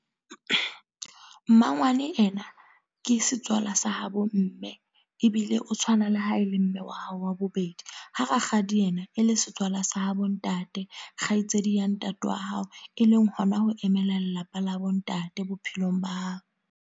Mmangwane ena, ke setswala sa ha bo mme. Ebile o tshwana le ha e le mme wa hao wa bobedi. Ha rakgadi ye na, e le setswala sa habo ntate. Kgaitsedi ya ntate wa hao. E leng hona ho emela lelapa la bo ntate bophelong ba hao.